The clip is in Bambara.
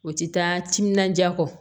O tɛ taa timinandiya kɔ